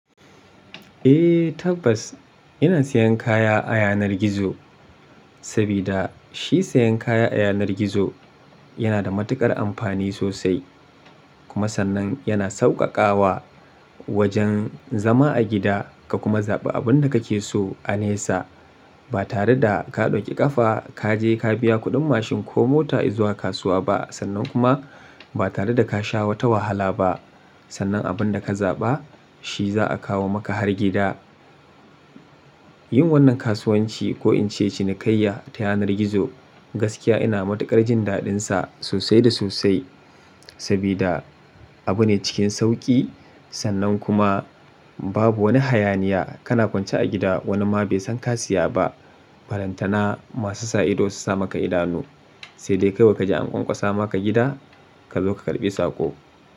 Eh tabbas, ina siyan kaya a yanar gizo, sabida shi siyan kaya a yanar gizo yana da matuƙar amfani sosai. Kuma sannan yana sauƙaƙawa wajen zama a gida ka kuma zaɓi abun da kake so a nesa. Ba tare da ka ɗauki ƙafa, ka je ka biya kuɗin mashin ko mota izuwa kasuwa ba. Sannan kuma ba tare da ka sha wata wahala ba. Sannan abun da ka zaɓa shi za a kawo maka har gida. Yin wannan kasuwanci ko in ce cinikayya ta yanar gizo, gaskiya ina matuƙar jin daɗinsa sosai da sosai. Sabida abu ne cikin sauƙi sannan kuma babu wani hayaniya. Kana kwance a gida wani ma bai san ka siya ba. Barantana masu sa ido su sa maka idanu, sai dai kai kaji an ƙwaƙwasa maka gida ka zo ka karɓi sako.